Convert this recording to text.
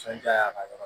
Sɔnj'a ka yɔrɔ